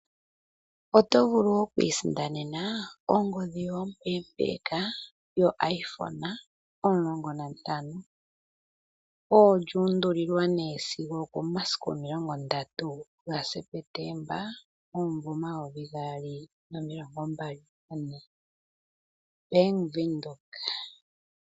Oto vulu okwiisindanena ongodhi yoye ompeempeeka yoIphone 15, esiku olyuuundulilwa komeho sigo 30 September 2024, Bank Windhoek.